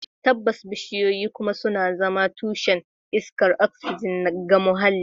Tabbas, bishiyoyi kuma suna zama tushen iskar oxygen ga muhalli